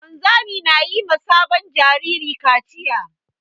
Wanzami na yi ma sabon jariri kaciya.